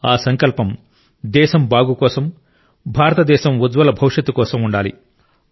ఆ సంకల్పం దేశం బాగు కోసం భారతదేశం ఉజ్వల భవిష్యత్తు కోసం ఉండాలి